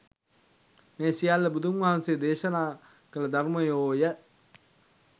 මේ සියල්ල බුදුන් වහන්සේ දේශනා කළ ධර්මයෝ ය.